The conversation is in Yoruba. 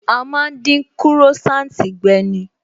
A má ń dín Croissant gbe ni